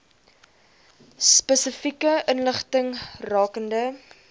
spesifieke inligting rakende